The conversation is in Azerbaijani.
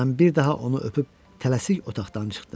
Mən bir daha onu öpüb tələsik otaqdan çıxdım.